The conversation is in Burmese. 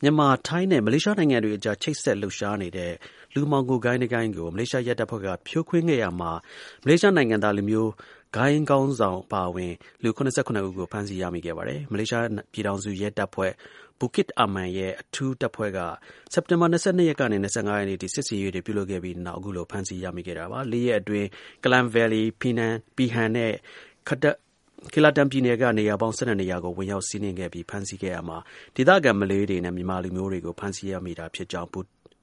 မြန်မာ၊ ထိုင်းနဲ့ မလေးရှားနိုင်ငံတွေအကြား ချိတ်ဆက် လှုပ်ရှားနေတဲ့ လူမှောင်ခို ဂိုဏ်းတစ်ဂိုဏ်းကို မလေးရှားရဲတပ်ဖွဲ့က ဖြိုခွင်းခဲ့ရာမှာ မလေးရှား လူမျိုးဂိုဏ်း ခေါင်းဆောင် အပါအဝင် လူ ၇၇ ဦးကို ဖမ်းဆီး ရမိခဲ့ပါတယ်။ မလေးရှား ပြည်ထောင်စုရဲတပ်ဖွဲ့ Bukit Aman ရဲ့ အထူးတပ်ဖွဲ့က စက်တင်ဘာ ၂၂ ရက်နေက ၂၅ ရက်နေ့အထိ စစ်ဆင်ရေးတွေ ပြုလုပ်ခဲ့ပြီးနောက် အခုလို ဖမ်းဆီး ရမိခဲ့တာပါ။ ၄ ရက်အတွင်း Klang Valley, Pahang၊ ပီနန်နဲ့ Kelatan ပြည်နယ်က နေရာပေါင်း ၁၂ နေရာကို ဝင်ရောက်စီးနင်းပြီး ဖမ်းဆီးခဲ့ရာမှာ ဒေသခံ မလေးတွေနဲ့ မြန်မာလူမျိုးတွေကို ဖမ်းဆီးရမိခဲ့တာဖြစ်ကြောင်း